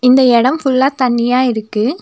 இந்த எடம் ஃபுல்லா தண்ணியா இருக்கு.